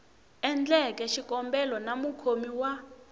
endleke xikombelo na mukhomi wa